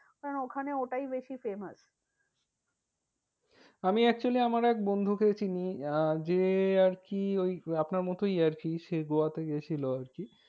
কারণ ওখানে ওটাই বেশি famous. আমি actually আমার এক বন্ধু কে চিনি আহ যে আরকি ওই আপনার মতোই কি আরকি, সে গোয়াতে গেছিলো আরকি।